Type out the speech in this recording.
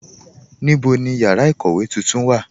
Níbo ni yára ikówe tuntun wà?